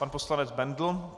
Pan poslanec Bendl.